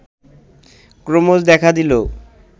ক্রমশ দেখা দিলো